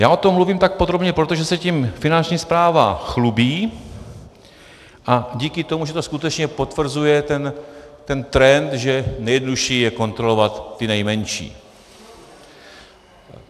Já o tom mluvím tak podrobně, protože se tím Finanční správa chlubí, a díky tomu, že to skutečně potvrzuje ten trend, že nejjednodušší je kontrolovat ty nejmenší.